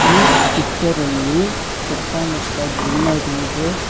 ಈ ಪಿಕ್ಚರ್ ಅಲ್ಲಿ ಸುತ್ತಮುತ್ತ ಗ್ರೀನರಿ ಇದೆ.